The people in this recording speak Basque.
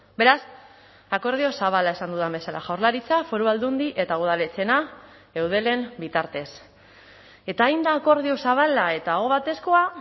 beraz akordio zabala esan dudan bezala jaurlaritza foru aldundi eta udaletxeena eudelen bitartez eta hain da akordio zabala eta ahobatezkoa